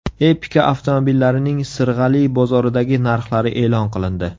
Epica avtomobillarining Sirg‘ali bozoridagi narxlari e’lon qilindi.